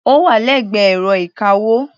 Ó wà lẹ́gbẹ̀ẹ́ ẹ̀rọ ìka-owó.